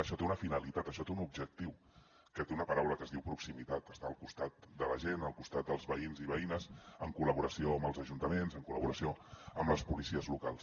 això té una finalitat això té un objectiu que té una paraula que es diu proximitat estar al costat de la gent al costat dels veïns i veïnes en col·laboració amb els ajuntaments en col·laboració amb les policies locals